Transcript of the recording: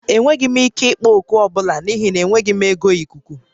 Enweghị m ike ịkpọ oku ọ bụla n'ihi na enweghị m oge ikuku